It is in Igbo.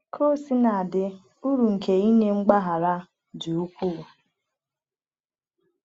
Ka o sina dị, uru nke inye mgbaghara dị ukwuu.